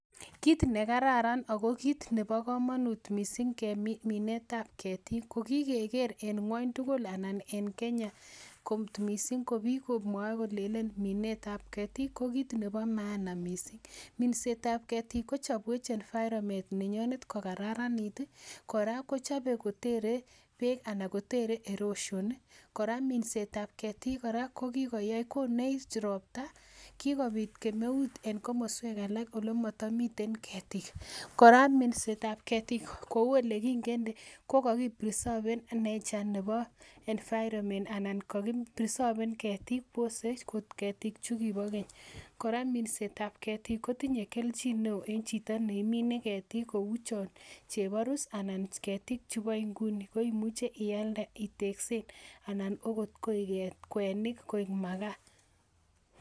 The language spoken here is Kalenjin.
Kit nekararan ako kit nebo komonut missing minet ab ketik ko kikeker en ngwony tugul ana en Kenya kot missing ko biik komwoe kolenen minet ab ketik ko kit nebo maana missing minset ab ketik kochobwech environment nenyonet kokararanit kora kochobe kotere beek ana kotere erosion kora minset ab ketik kora ko kikoyai konech ropta, kikobit kemeut en komoswek alak olemotomiten ketik kora minset ab ketik kou elekingende ko kokiprerserven nature nebo environment anan kokiprerserven ketiik wose ot ketik chukibo keny kora minset ab ketik kotinye kelchin neoo en chito neimine ketik kou chon cheborus ana ketik chubo nguni koimuche ialde iteksen anan koi ot kwenik koik makaa